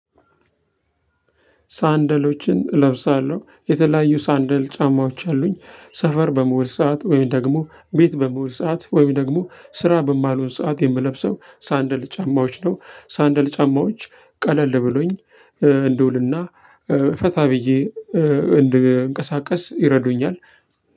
ሳንደሎችን እለብሳለሁ የተለያዩ ሳንደል ጫማዎች አሉኝ ሰፈር በምዉል ሰዓት ወይም ደግሞ ቤት በምዉል ሰዓት ወይም ደግሞ ስራ በማልሆን ሰዓት የምለብሰው ሳንደል ጫማዎች ነው። ሳንደል ጫማዎች ቀለል ብሎኝ እንድውልና ፈታ ብዬ እንደንቀሳቀስ ይረዱኛል።